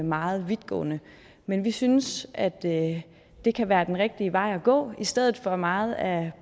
meget vidtgående men vi synes at det det kan være den rigtige vej at gå i stedet for meget af